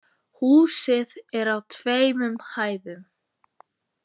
Húsið er á tveimur hæðum